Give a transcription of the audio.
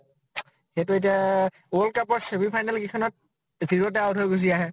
সেইটো এতিয়া । world cup ত semi final কেইখনত zero তে out হৈ গুছি আহে